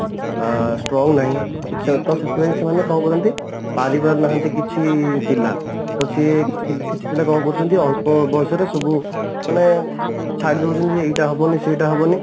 ଆ strong ନାହିଁ ତ ସେଥିପାଇଁ ସେମାନେ କଣ କରନ୍ତି ପରିପାରୁନାହାନ୍ତି କିଛି ପିଲା ତ ସିଏ କିଛି ପିଲା କଣ କରୁଛନ୍ତି ଅଳ୍ପ ବୟସର ସବୁ ମାନେ ଛଡିଦଉଛନ୍ତି ଏଇଟା ହବନି ସେଇଟା ହବନି